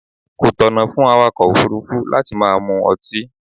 Kò tọ̀nà fún awàkọ̀ òfúrúfú láti máa mu ọtí.